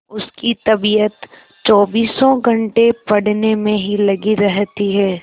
उसकी तबीयत चौबीसों घंटे पढ़ने में ही लगी रहती है